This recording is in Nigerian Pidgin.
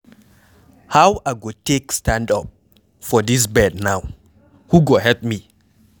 How I go take stand up from dis bed now? Who go help me?